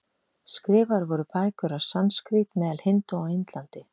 Skrifaðar voru bækur á sanskrít meðal hindúa á Indlandi.